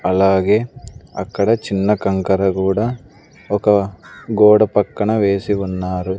అలాగే అక్కడ చిన్న కంకర కూడా ఒక గోడ పక్కన వేసి ఉన్నారు.